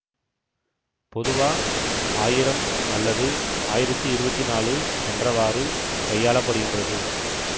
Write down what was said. பொதுவா ஆயிரம் அல்லது ஆயிரத்தி இருவத்தி நாலு என்றவாறு கையாளப்படுகின்றது